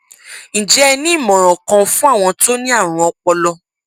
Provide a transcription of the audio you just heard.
ǹjẹ ẹ ní ìmọràn kan fún àwọn tó ní àrùn ọpọlọ